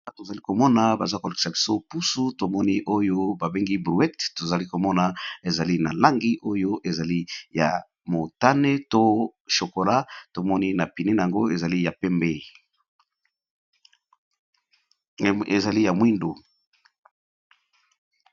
Awa tozali komona baza ko lekisa biso pusu tomoni oyo ba bengi bruete tozali komona ezali na langi oyo ezali ya motane to chokola, tomoni na pune na yango ezali na Langi ya mwindu.